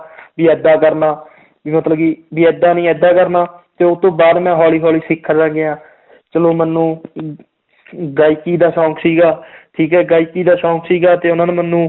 ਵੀ ਏਦਾਂ ਕਰਨਾ ਵੀ ਮਤਲਬ ਕਿ ਵੀ ਏਦਾਂ ਨੀ ਏਦਾਂ ਕਰਨਾ, ਤੇ ਉਹ ਤੋਂ ਬਾਅਦ ਮੈਂ ਹੌਲੀ ਹੌਲੀ ਸਿੱਖਦਾ ਗਿਆ ਚਲੋ ਮੈਨੂੰ ਅਮ ਗਾਇਕੀ ਦਾ ਸ਼ੌਂਕ ਸੀਗਾ ਠੀਕ ਹੈ ਗਾਇਕੀ ਦਾ ਸ਼ੌਂਕ ਸੀਗਾ ਤੇ ਉਹਨਾਂ ਨੇ ਮੈਨੂੰ